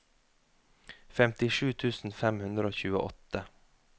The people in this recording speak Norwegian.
femtisju tusen fem hundre og tjueåtte